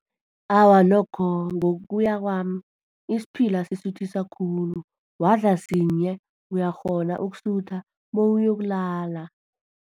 Awa, nokho ngokuya kwami, isiphila sisuthisa khulu. Wadla sinye, uyakghona ukusutha bewuyokulala.